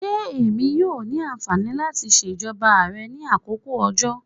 Ṣé Èmi yóò ní ànfàní láti ṣajó rẹ ní àkókò òjò?